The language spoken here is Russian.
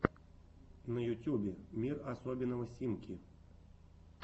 на ютюбе мир особенного симки